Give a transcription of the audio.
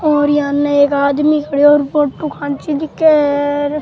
और यहाँ में एक आदमी खड़ो है फोटो खींचे दिख है र।